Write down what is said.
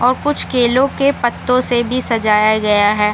और कुछ केलो के पतो से भी सजाया गया है।